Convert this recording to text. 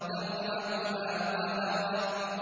تَرْهَقُهَا قَتَرَةٌ